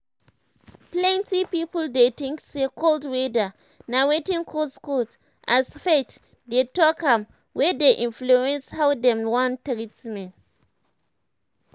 plenty people dey tink say cold weather na wetin cause cold as faith dey talk am wey dey influence how dem wan treat am.